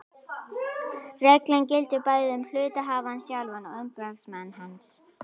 Reglan gildir bæði um hluthafann sjálfan og umboðsmann hans.